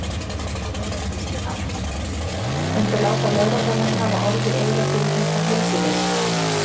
Þóra Kristín Ásgeirsdóttir: Muntu láta lögregluna hafa orð í eyra fyrir þetta heilsuleysi?